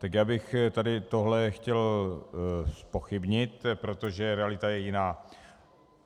Tak já bych tady tohle chtěl zpochybnit, protože realita je jiná.